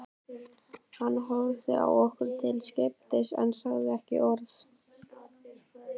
Hann horfði á okkur til skiptis en sagði ekki orð.